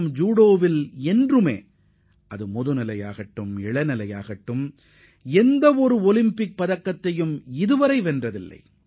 மேலும் ஜூடோ போட்டியில் இந்தியா இதுவரை ஜூனியர் அல்லது சீனியர் பிரிவில் பதக்கம் வென்றதில்லை